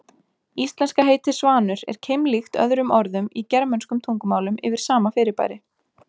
Íslenska heitið svanur er keimlíkt öðrum orðum í germönskum tungumálum yfir sama fyrirbæri.